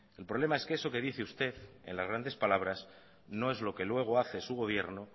el problema es que eso que dice usted en las grandes palabras no es lo que luego hace su gobierno